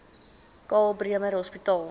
karl bremer hospitaal